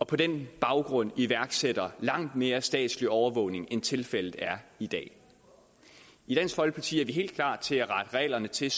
på den baggrund iværksætter langt mere statslig overvågning end tilfældet er i dag i dansk folkeparti er vi helt klar til at rette reglerne til